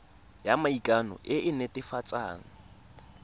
ya maikano e e netefatsang